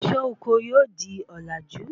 Isé oko yóò di òlàjú